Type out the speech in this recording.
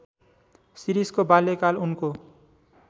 शिरीषको बाल्यकाल उनको